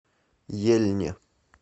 ельне